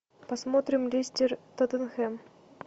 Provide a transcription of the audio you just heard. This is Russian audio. посмотрим лестер тоттенхэм